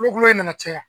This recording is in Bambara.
Kulo in nana caya